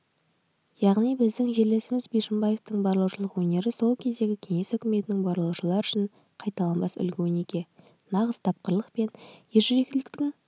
яғни біздің жерлесіміз бишімбаевтың барлаушылық өнері сол кездегі кеңес үкіметінің барлаушылары үшін қайталанбас үлгі-өнеге нағыз тапқырлық пен ержүректіліктің